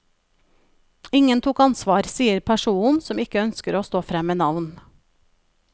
Ingen tok ansvar, sier personen som ikke ønsker å stå frem med navn.